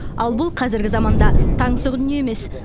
ал бұл қазіргі заманда таңсық дүние емес